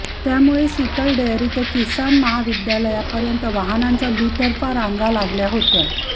त्यामुळे शितल डेअरी ते किसान महाविद्यालयापर्यंत वाहनांच्या दुतर्फा रांगा या लागल्या होत्या